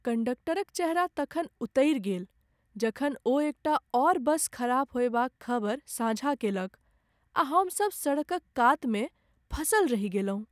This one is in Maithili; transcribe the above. कंडक्टरक चेहरा तखन उतरि गेल जखन ओ एकटा आओर बस खराब होएबाक खबर साझा केलक आ हमसभ सड़कक कातमे फँसल रहि गेलहुँ।